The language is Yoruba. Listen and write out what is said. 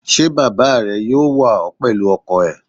Ṣé Bàbà rẹ yóò wà ó pẹ̀lú ọkọ̀ ẹ̀?